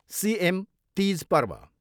CM Teej Parv.